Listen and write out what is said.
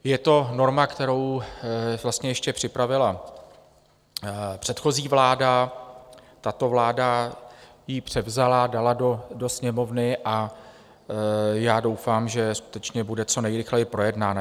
Je to norma, kterou ještě připravila předchozí vláda, tato vláda ji převzala, dala do Sněmovny a já doufám, že skutečně bude co nejrychleji projednána.